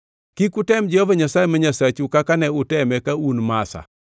Kik utem Jehova Nyasaye ma Nyasachu kaka ne uteme ka un Masa.